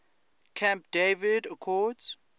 camp david accords